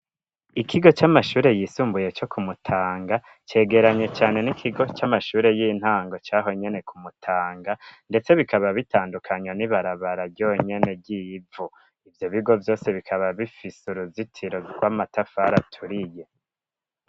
ikigo c'amashure yisumbuye co ku Mutanga cegeranye cane n'ikigo c'amashuri y'intango cahonyene ku Mutanga ndetse bikaba bitandukanwa n'ibarabara yonyene ry'ivu ivyo bigo vyose bikaba bifise uruzitiro rw'amatafari aturiye.